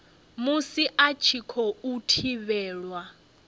musi a tshi khou thivhelwa